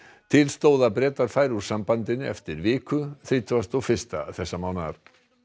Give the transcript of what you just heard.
til stóð að Bretar færu úr sambandinu eftir viku þrítugasta og fyrsta þessa mánaðar